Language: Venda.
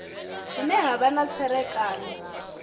hune ha vha na tserakano